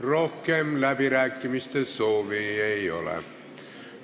Rohkem läbirääkimiste soovi ei ole.